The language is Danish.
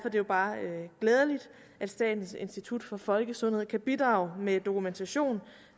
er det bare glædeligt at statens institut for folkesundhed kan bidrage med dokumentation